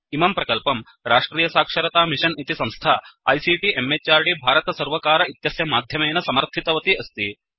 इमं प्रकल्पं राष्ट्रियसाक्षरतामिषन् इति संस्था आईसीटी म्हृद् भारतसर्वकार इत्यस्य माध्यमेन समर्थितवती अस्ति